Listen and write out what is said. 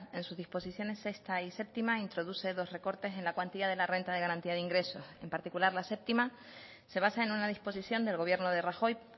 en su disposición sexta y séptima introduce dos recortes en la cuantía de la renta de garantía de ingresos en particular la séptima se basa en una disposición del gobierno de rajoy